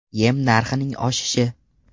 Yem narxining oshishi.